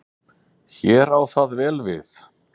Hér á það vel við.